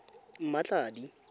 mmatladi